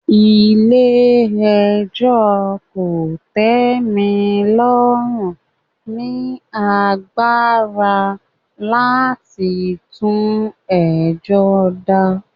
Ilé ẹjọ́ kò tẹ́ mi lọ́rùn ni agbára láti tún ẹjọ́ dá